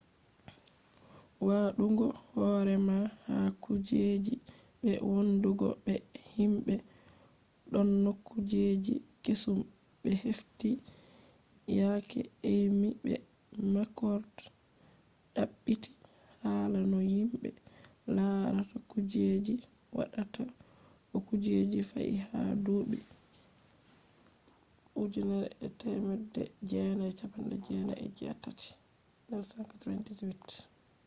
waɗugo horema ha kujeji” be wondugo be himɓe” ɗonno kujeji kesum ɓe hefti yake eymi be makrod ɗaɓɓiti hala no himɓe larata kujeji waɗata to kuje fe’i ha duuɓi 1998